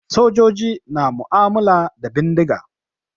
Sojoji na mu'ammala da bindiga.